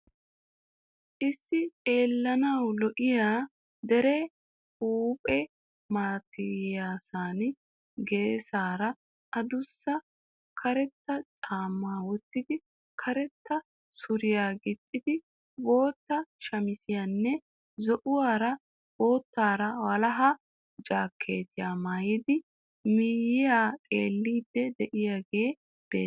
Issi xeellanawu lo'iya dere huuphphe malatiyasan geesaara adussa karetta caammaa wottidi, karetta suriya gixxiidi bootta shamizziyanne zo'uwaara boottaara walaha jaakeettiya maayidi miyyiyaa xeellidi de'iyaagee beettees.